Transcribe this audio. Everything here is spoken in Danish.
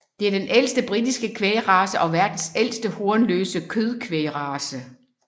Det er den ældste britiske kvægrace og verdens ældste hornløse kødkvægrace